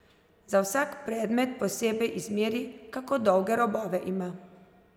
Za vsak predmet posebej izmeri, kako dolge robove ima.